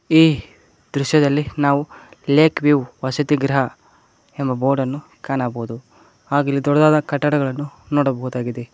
ಈ ದೃಶದಲ್ಲಿ ನಾವು ಲೇಕ್ ವಿವ್ ವಸತಿ ಗೃಹ ಎಂಬ ಬೋರ್ಡನ್ನು ಕಾಣಬೋದು ಹಾಗ್ ಇಲ್ಲಿ ದೊಡ್ಡದಾದ ಕಟ್ಟಡಗಳನ್ನು ನೋಡಬಹುದಾಗಿದೆ.